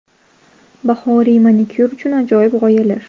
Bahoriy manikyur uchun ajoyib g‘oyalar .